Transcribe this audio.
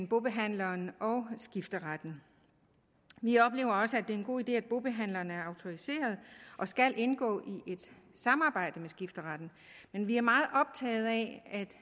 bobehandleren og skifteretten vi oplever også at det er en god idé at bobehandlerne er autoriserede og skal indgå i et samarbejde med skifteretten men vi er meget optaget af at